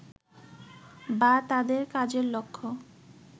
বা তাদের কাজের লক্ষ্য